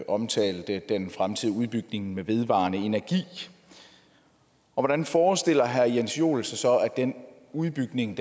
omtalte den fremtidige udbygning med den vedvarende energi og hvordan forestiller herre jens joel sig så at den udbygning